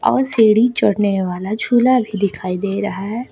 औ सीढ़ी चढ़ने वाला झूला भी दिखाई दे रहा है।